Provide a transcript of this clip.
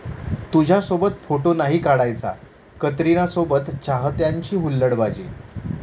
तुझ्यासोबत फोटो नाही काढायचा',कतरीनासोबत चाहत्यांची हुलडबाजी